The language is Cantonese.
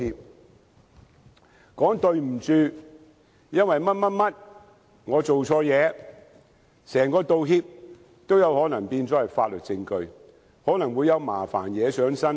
只要說一聲"對不起，因為某某原因，我做錯事"，整個道歉也可能變成法律證據，可能有麻煩惹上身。